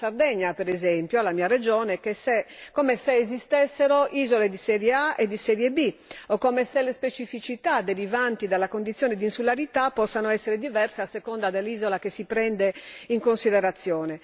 non alla Sardegna per esempio, la mia regione, come se esistessero isole di serie A e di serie B o come se le specificità derivanti dalla condizione di insularità possano essere diverse a seconda dell'isola che si prende in considerazione.